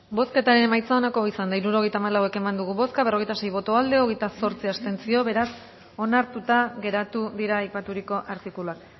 bozketaren emaitza onako izan da hirurogeita hamalau eman dugu bozka berrogeita sei boto aldekoa hogeita zortzi abstentzio beraz onartuta geratu dira aipaturiko artikuluak